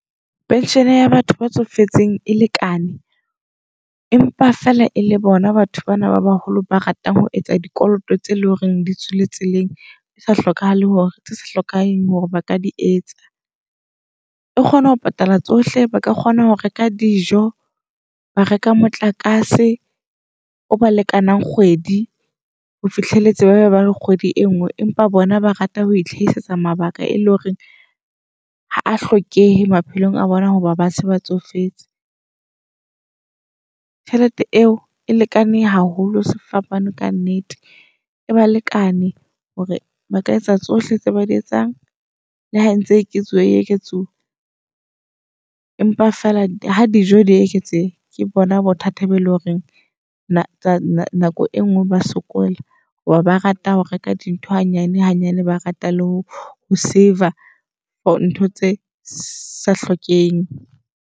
Pension ya batho ba tsofetseng e lekane empa fela e le bona batho bana ba baholo ba ratang ho etsa dikoloto tse leng hore di tswile tseleng. E sa hlokahale hore tse sa hlokahale hore baka di etsa. E kgona ho patala tsohle, ba ka kgona ho reka dijo, ba reka motlakase o ba lekanang kgwedi ho fihlelletse ba ba kgwedi e nngwe. Empa bona ba rata ho ihlaisetsa mabaka e leng hore ha a hlokehe maphelong a bona hoba ba se ba tsofetse. Tjhelete eo e lekane haholo sefapano ka nnete, e ba lekane hore ba ka etsa tsohle tse ba di etsang. Le ha entse e eketsuwa e e eketsuwa, empa fela ha dijo di eketseha ke bona bothata ba eleng horeng nako e ngwe ba sokola. Hoba rata ho reka dintho hanyane hanyane, ba rata le ho save-a ntho tse sa hlokeheng.